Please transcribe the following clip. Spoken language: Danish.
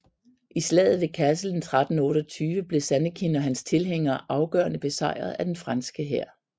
I Slaget ved Cassel 1328 blev Zannekin og hans tilhængere afgørende besejret af den franske hær